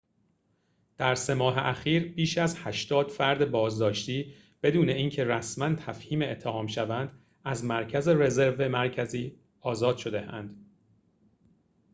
در ۳ ماه اخیر بیش از ۸۰ فرد بازداشتی بدون اینکه رسماً تفهیم اتهام شوند از مرکز رزرو مرکزی آزاد شده‌اند